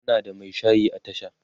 ana da Mai shayi a tasha